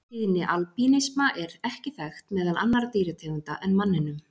Tíðni albínisma er ekki þekkt meðal annarra dýrategunda en manninum.